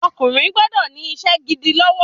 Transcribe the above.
Ọkùnrin gbọdọ̀ ní isé gidi lọ́wọ́